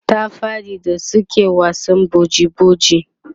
ta faɗi da suke wasan boji boji